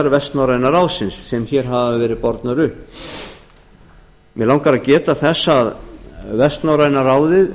vestnorræna ráðsins sem hér hafa verið bornar upp mig langar að geta þess að vestnorræna ráðið